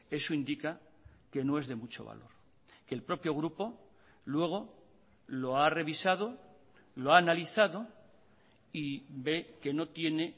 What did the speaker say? eso indica que no es de mucho valor que el propio grupo luego lo ha revisado lo ha analizado y ve que no tiene